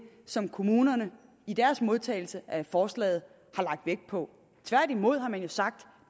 som kommunerne i deres modtagelse af forslaget har lagt vægt på tværtimod har man jo sagt